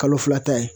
Kalo fila ta ye